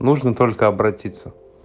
нужно только обратиться